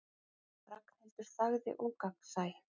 Ragnhildur þagði ógagnsæ.